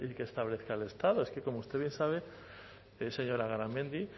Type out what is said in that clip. que establezca el estado es que como usted bien sabe señora garamendi